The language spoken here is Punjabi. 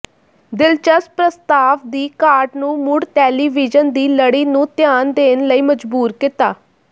ਦਿਲਚਸਪ ਪ੍ਰਸਤਾਵ ਦੀ ਘਾਟ ਨੂੰ ਮੁੜ ਟੈਲੀਵੀਯਨ ਦੀ ਲੜੀ ਨੂੰ ਧਿਆਨ ਦੇਣ ਲਈ ਮਜਬੂਰ ਕੀਤਾ